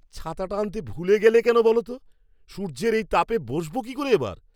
ছাতাটা আনতে ভুলে গেলে কেন বলো তো? সূর্যের এই তাপে বসবো কি করে এবার?